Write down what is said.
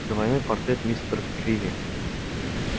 двойной портрет мистер криви